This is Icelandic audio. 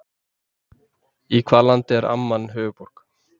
Í hvaða landi er Amman höfuðborg?